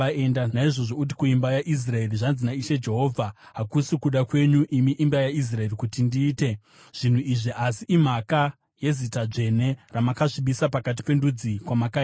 “Naizvozvo uti kuimba yaIsraeri, ‘Zvanzi naIshe Jehovha: Hakusi kuda kwenyu, imi imba yaIsraeri, kuti ndiite zvinhu izvi, asi imhaka yezita dzvene, ramakasvibisa pakati pendudzi kwamakaenda.